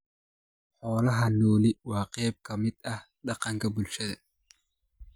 Xoolaha nooli waa qayb ka mid ah dhaqanka bulshada.